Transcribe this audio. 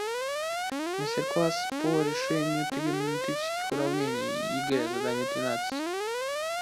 мастер класс по решению тригонометрических уравнений егэ задание тринадцать